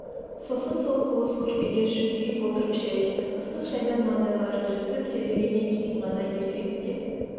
сосын сол қуыс күркеде шүңкиіп отырып шай ішті ыстық шайдан мандайлары жіпсіп терлегеннен кейін ғана еркегіне